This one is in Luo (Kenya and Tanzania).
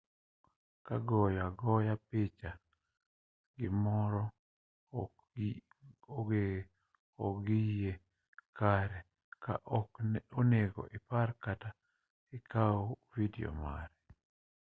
ka goyo agoya picha gimoro ok-oyie kare ok onego ipar kata kaw vidio mare